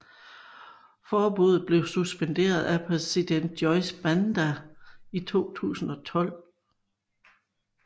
Forbuddet blev suspenderet af præsident Joyce Banda i 2012